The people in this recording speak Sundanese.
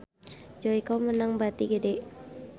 Joyko meunang bati gede